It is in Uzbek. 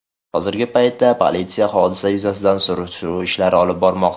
Hozirgi paytda politsiya hodisa yuzasidan surishtiruv olib bormoqda.